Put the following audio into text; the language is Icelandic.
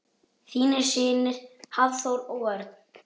Þínir synir Hafþór og Örn.